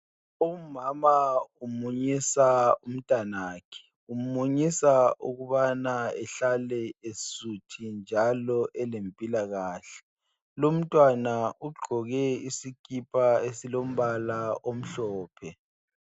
Umama umunyisa umntanakhe. Umunyisa ukubana ehlale esuthi njalo elempilakahle. Lumntwana ugqoke isikipa esilombala omhlophe.